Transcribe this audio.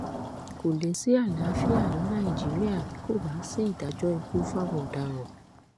kò lè sí àlàáfíà ní nàìjíríà tí kò bá sí ìdájọ ikú fáwọn ọdaràn